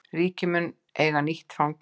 Ríkið mun eiga nýtt fangelsi